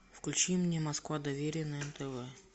включи мне москва доверие на нтв